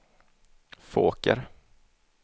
Fåker